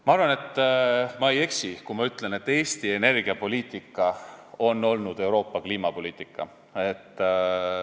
Ma arvan, et ma ei eksi, kui ma ütlen, et Eesti energiapoliitika on olnud Euroopa kliimapoliitika.